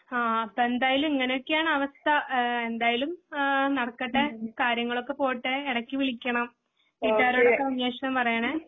ആ ആ എന്തായാലും ഇങ്ങനൊക്കെയാണാവസ്ഥ ആ എന്തായാലും ആ നടക്കട്ടെ. കാര്യങ്ങളൊക്കെ പോട്ടെ എടക്ക് വിളിക്കണം വീട്ടുകാരോടൊക്കെ അന്വേഷണം പറയണം.